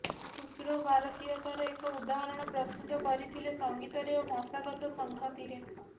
ଖୁସ୍ରୋ ଭାରତୀୟତାର ଏକ ଉଦାହରଣ ପ୍ରସ୍ତୁତ କରିଥିଲେ ସଂଗୀତରେ ଓ ଭାଷାଗତ ସଂହତିରେ